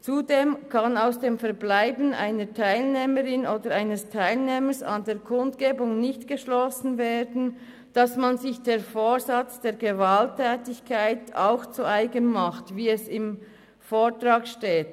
Zudem kann aus dem Verbleiben einer Teilnehmerin oder eines Teilnehmers an der Kundgebung nicht geschlossen werden, dass man sich den Vorsatz zur Gewaltanwendung auch zu eigen macht, wie es im Vortrag steht.